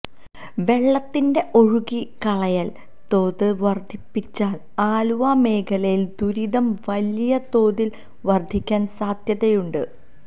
വെള്ളത്തിന്റെ ഒഴുക്കി കളയൽ തോത് വർദ്ധിപ്പിച്ചാൽ ആലുവ മേഖലയിൽ ദുരിതം വലിയ തോതിൽ വർദ്ധിക്കാൻ സാധ്യതയുണ്ട്